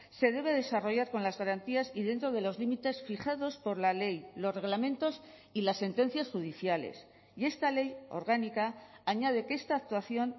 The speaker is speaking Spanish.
se debe desarrollar con las garantías y dentro de los límites fijados por la ley los reglamentos y las sentencias judiciales y esta ley orgánica añade que esta actuación